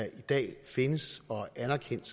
tid